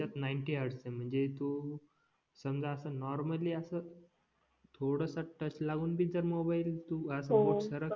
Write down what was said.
त्याच्यात ninety hertz आहे म्हणजे तू समजा असं नॉर्मली असं थोडंसं टच लावून भी जर मोबाईल बोट